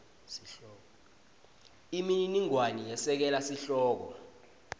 imininingwane yesekela sihloko